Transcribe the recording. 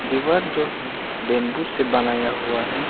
दीवार जो है बेम्बू से बनाया हुआ है।